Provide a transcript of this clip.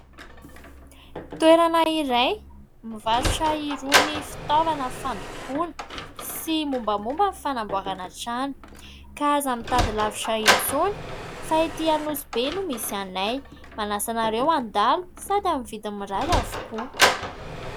Toerana iray mivarotra irony fitaovana fandokoana sy momba momba ny fanamboarana trano ka aza mitady lavitra intsony fa ety Anosibe no misy anay manasa anareo handalo sady amin'ny vidiny mirary avokoa.